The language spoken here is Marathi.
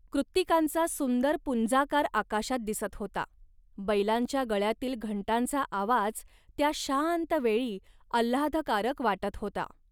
कृत्तिकांचा सुंदर पुंजाकार आकाशात दिसत होता. बैलांच्या गळ्यातील घंटांचा आवाज त्या शांत वेळी आल्हादकारक वाटत होता